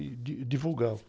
e, di, divulgava.